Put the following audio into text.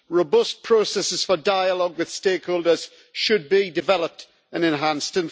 Robust processes for dialogue with stakeholders should be developed and enhanced.